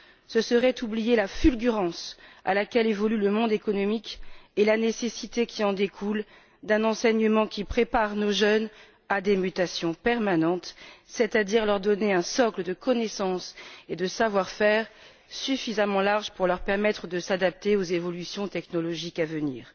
Ce serait oublier la fulgurance à laquelle évolue le monde économique et la nécessité qui en découle d'un enseignement qui prépare nos jeunes à des mutations permanentes, c'est à dire les doter d'un socle de connaissances et de savoir faire suffisamment large pour leur permettre de s'adapter aux évolutions technologiques à venir.